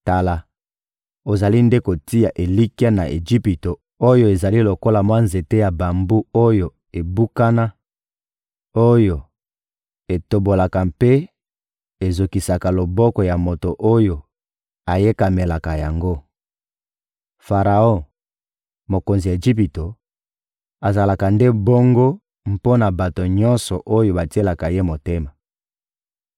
Tala, ozali nde kotia elikya na Ejipito oyo ezali lokola mwa nzete ya bambu oyo ebukana, oyo etobolaka mpe ezokisaka loboko ya moto oyo ayekamelaka yango! Faraon, mokonzi ya Ejipito, azalaka nde bongo mpo na bato nyonso oyo batielaka ye motema.